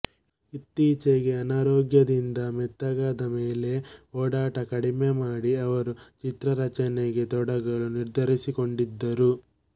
ಇತ್ತೀಚೆಗೆ ಅನಾರೋಗ್ಯದಿಂದ ಮೆತ್ತಗಾದ ಮೇಲೆ ಓಡಾಟ ಕಡಿಮೆಮಾಡಿ ಅವರು ಚಿತ್ರರಚನೆಗೆ ತೊಡಗಲು ನಿರ್ಧರಿಸಿಕೊಂಡಿದ್ದರು